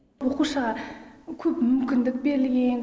оқушыға көп мүмкіндік берілген